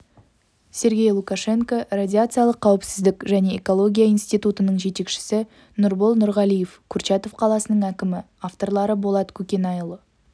сергей лукашенко радиациялық қауіпсіздік және экология институтының жетекшісі нұрбол нұрғалиев курчатов қаласының әкімі авторлары болат көкенайұлы